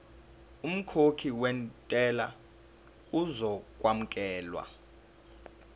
umkhokhi wentela uzokwamukelwa